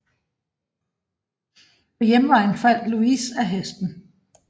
På hjemvejen faldt Louis af hesten